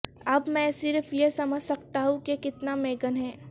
اب میں صرف یہ سمجھ سکتا ہوں کہ کتنا میگن ہے